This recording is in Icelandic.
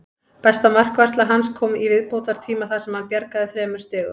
Besta markvarsla hans kom í viðbótartíma þar sem hann bjargaði þremur stigum.